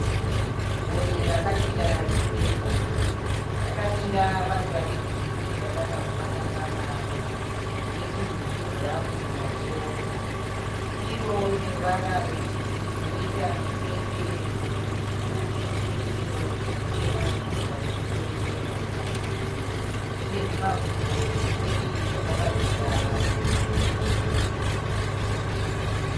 Gonye rakamira riri rega. Rakamira paruva re girini rakada kufanana naro, netunhu twe bhurauni pamusoro. Iroriine ruvara rwe girini rinoita mitsetse mitsvuku neinwe ye yero ine zvitema inobva ku musoro ichienda kuzasi. Ine zvimakumbo zvipfupi zvakabatira padumbu